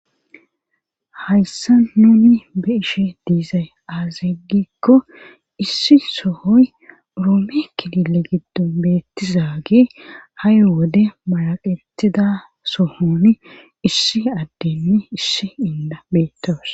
hayssa nuni be'ishn diizay aaze gikko issi sohoy roome kkilile giddon beettiza ha'i wode maraqetida sohoni issi addenne issi inda beettawus